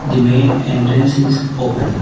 The main entrance is open.